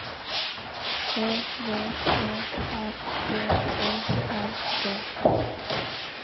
Ø V E R G Å R D